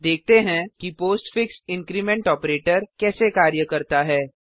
देखते हैं कि पोस्टफिक्स इंक्रीमेंट ऑपरेटर कैसे कार्य करता है